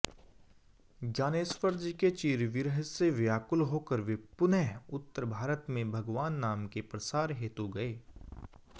ज्ञानेश्वरजीके चिरविरहसे व्याकुल होकर वे पुनः उत्तर भारतमें भगवन्नामके प्रसार हेतु गए